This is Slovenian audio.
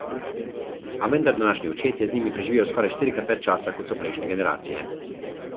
A vendar današnji očetje z njimi preživijo skoraj štirikrat več časa, kot so prejšnje generacije.